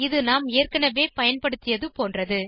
இது நாம் ஏற்கனவே பயன்படுத்தியது போன்றது